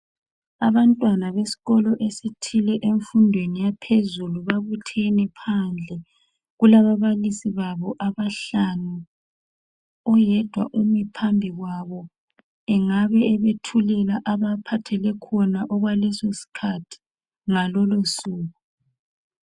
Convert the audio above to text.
Abantwana besikolo esithile emfundweni yaphezulu babuthene phandle kulababalisi babo abahlanu, oyedwa umi phambi kwabo, engabe ebethulela abaphathele khona okwaleso sikhathi ngalolo suku.